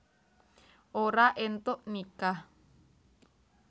Ora éntuk nikah